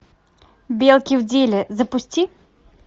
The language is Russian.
белки в деле запусти